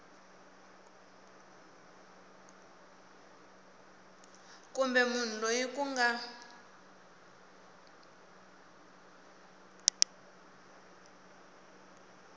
kumbe munhu loyi ku nga